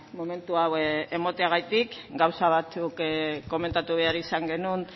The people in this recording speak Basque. momentu hau emateagatik gauza batzuk komentatu behar izan genuen